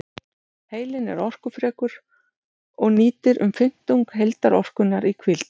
Heilinn er orkufrekur og nýtir um fimmtung heildarorkunnar í hvíld.